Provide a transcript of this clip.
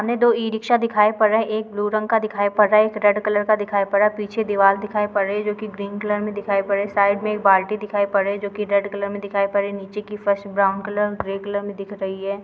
सामने दो इ-रिक्शा दिखाई पड़ रहें हैं। एक ब्लू रंग का दिखाई पड़ रहा है एक रेड कलर का दिखाई पड़ रहा है। पीछे दिवाल दिखाई पड़ रही है जो की ग्रीन कलर में दिखाई पड़ रही है। साइड में एक बाल्टी दिखाई पड़ रही जो की रेड कलर में दिखाई पड़ रही है। नीचे की फर्श ब्राउन कलर और ग्रे कलर में दिख रही है।